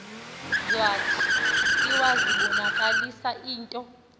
zwathi iwazibonakalisa into